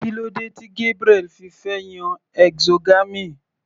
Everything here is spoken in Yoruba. Kílódé tí Gabriel fi fẹ́ yan exogamy.